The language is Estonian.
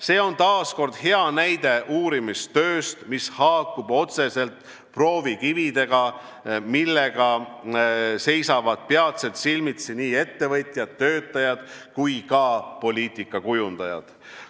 See on taas kord hea näide uurimistööst, mis haakub otseselt proovikividega, millega seisavad peatselt silmitsi nii ettevõtjad, töötajad kui ka poliitikakujundajad.